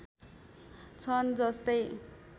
छन् जस्तै